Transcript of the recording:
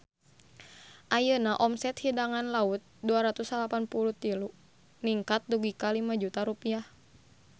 Ayeuna omset Hidangan Laut 293 ningkat dugi ka 5 juta rupiah